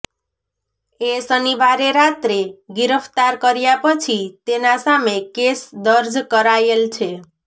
એ શનિવારે રાત્રે ગિરફ્તાર કર્યા પછી તેના સામે કેસ દર્જ કરાયેલ છે